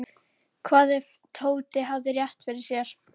Hvað ef Tóti hefði rétt fyrir sér?